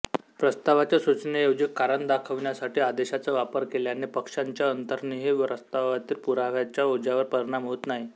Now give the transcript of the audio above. प्रस्तावाच्या सूचनेऐवजी कारण दाखविण्यासाठी आदेशाचा वापर केल्याने पक्षांच्या अंतर्निहित प्रस्तावावरील पुराव्याच्या ओझ्यावर परिणाम होत नाही